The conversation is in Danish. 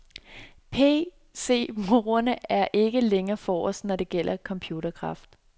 PCbrugerne er nu ikke længere forrest, når det gælder computerkraft.